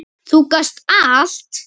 Þú gast allt!